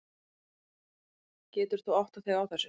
Getur þú áttað þig á þessu?